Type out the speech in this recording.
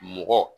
Mɔgɔ